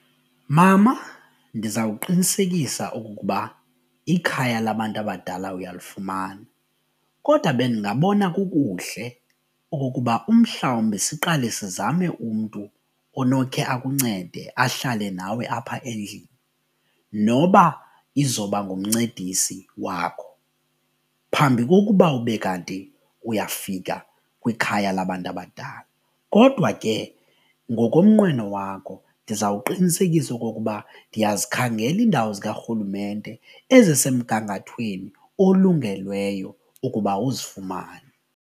Mama ndizawuqinisekisa okokuba ikhaya labantu abadala uyalufumana kodwa bendingabona kukuhle okokuba umhlawumbi siqale sizame umntu onokhe akuncede ahlale nawe apha endlini noba izoba ngumncedisi wakho phambi kokuba ube kanti uyafika kwikhaya labantu abadala. Kodwa ke ngokomnqweno wakho ndizawuqinisekisa okokuba ndiyazikhangela iindawo zikarhulumente ezisemgangathweni olungelweyo ukuba uzifumane.